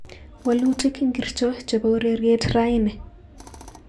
Walutik ingircho chebo ureryet raini